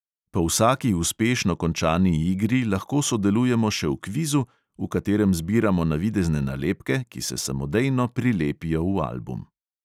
Po vsaki uspešno končani igri lahko sodelujemo še v kvizu, v katerem zbiramo navidezne nalepke, ki se samodejno prilepijo v album.